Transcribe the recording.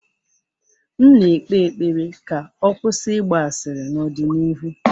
M na-ekpe ekpere ka ọ kwụsị ịgba asịrị n'ọdịnihu.